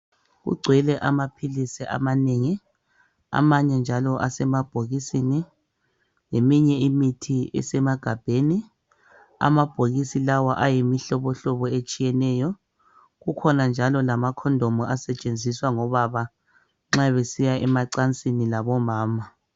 Kugcwele amaphilisi amanengi amanye njalo asemabhokisini leminye imithi isemagabheni , amabhokisi lawa ayimihlobo hlobo etshiyeneyo kukhona njala amakhondomu asentshenziswa ngobaba nxa besiya emacansini labo mama.